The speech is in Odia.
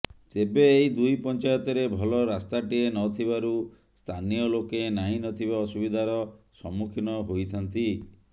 ତେବେ ଏହି ଦୁଇ ପଞ୍ଚାୟତରେ ଭଲ ରାସ୍ତାଟିଏ ନଥିବାରୁ ସ୍ଥାନୀୟ ଲୋକେ ନାହିଁ ନଥିବା ଅସୁବିଧାର ସମ୍ମୁଖୀନ ହୋଇଥାନ୍ତି